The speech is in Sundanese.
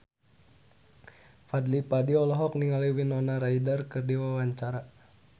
Fadly Padi olohok ningali Winona Ryder keur diwawancara